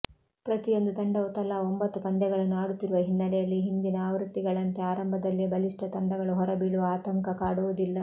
ಪ್ರತಿಯೊಂದು ತಂಡವು ತಲಾ ಒಂಬತ್ತು ಪಂದ್ಯಗಳನ್ನು ಆಡುತ್ತಿರುವ ಹಿನ್ನಲೆಯಲ್ಲಿ ಹಿಂದಿನ ಆವೃತ್ತಿಗಳಂತೆ ಆರಂಭದಲ್ಲೇ ಬಲಿಷ್ಠ ತಂಡಗಳು ಹೊರಬೀಳುವ ಆತಂಕ ಕಾಡುವುದಿಲ್ಲ